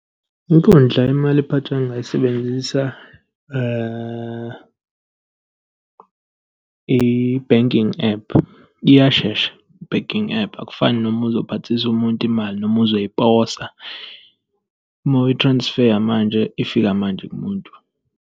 Inkundla yemali ephathwayo engingayisebenzisa i-banking app. Iyashesha i-banking app. Akufani noma uzophathisa umuntu imali noma uzoyiposa. Uma uyi-transfer-ya manje, ifika manje kumuntu.